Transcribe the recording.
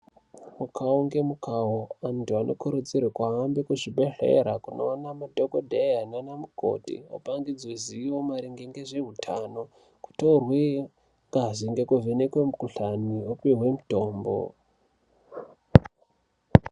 Mukhau ngemukhau vanthu vanokurudzirwa kuhambe kuzvibhedhlera kunoona madhokodheya nanamukoti vopakidzwe zivo maringe ngezveutano. Kutorwe ngazi ngekuvhenekwe mikhuhlani vopiwe mitombo .